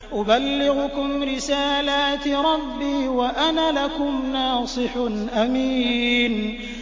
أُبَلِّغُكُمْ رِسَالَاتِ رَبِّي وَأَنَا لَكُمْ نَاصِحٌ أَمِينٌ